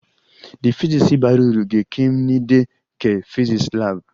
The physics bara uru ga-ẹkenịmde ke physics lab